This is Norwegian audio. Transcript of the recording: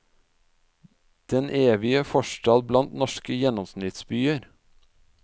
Den evige forstad blant norske gjennomsnittsbyer?